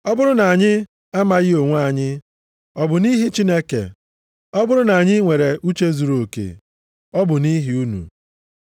Ọ bụrụ na anyị amaghị onwe anyị, ọ bụ nʼihi Chineke, ọ bụrụ na anyị nwere uche zuruoke, ọ bụ nʼihi unu.